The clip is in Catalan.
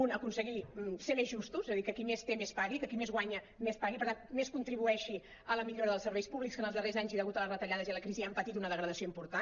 dos aconseguir ser més justos és a dir que qui més té més pagui que qui més guanya més pagui per tant més contribueixi a la millora dels serveis públics que en els darrers anys i degut a les retallades i a la crisi han patit una de·gradació important